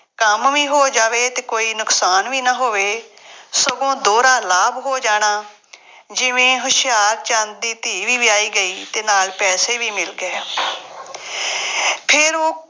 ਕੰਮ ਵੀ ਹੋ ਜਾਵੇ ਅਤੇ ਕੋਈ ਨੁਕਸਾਨ ਵੀ ਨਾ ਹੋਵੇ, ਸਗੋਂ ਦੋਹਰਾ ਲਾਭ ਹੋ ਜਾਣਾ, ਜਿਵੇਂ ਹੁਸ਼ਿਆਰਚੰਦ ਦੀ ਧੀ ਵੀ ਵਿਆਹੀ ਗਈ ਅਤੇ ਨਾਲ ਪੈਸੇ ਵੀ ਮਿਲ ਗਏ। ਫੇਰ ਉਹ